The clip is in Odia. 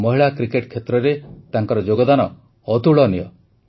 ମହିଳା କ୍ରିକେଟ କ୍ଷେତ୍ରରେ ତାଙ୍କର ଯୋଗଦାନ ଅତୁଳନୀୟ